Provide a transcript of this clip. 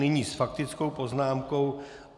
Nyní s faktickou poznámkou...